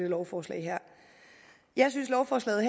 lovforslag jeg synes at lovforslaget